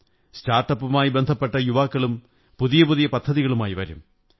സ്റ്റാര്ട്ടപ്പുകളുമായി ബന്ധപ്പെട്ട യുവാക്കളും പുതിയ പുതിയ പദ്ധതികളുമായി വരും